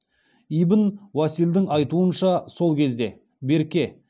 ибн уасилдың айтуынша сол кезде берке